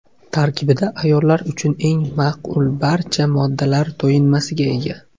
Tarkibida ayollar uchun eng ma’qul barcha moddalar to‘yinmasiga ega.